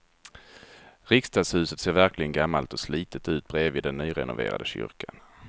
Riksdagshuset ser verkligen gammalt och slitet ut bredvid den nyrenoverade kyrkan.